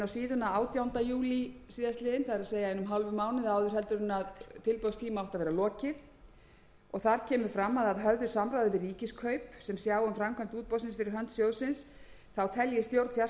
síðuna átjánda júlí síðastliðnum það er einum og hálfum mánuði áður en tilboðstíma átti að vera lokið og þar kemur fram að að höfðu samráði við ríkiskaup sem sjá um framkvæmd útboðsins fyrir hönd sjóðsins telji stjórn fjarskiptasjóðsins að það þurfi